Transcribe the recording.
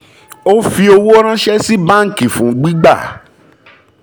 ó fi owó ranṣẹ́ sí báńkì fún gbígbà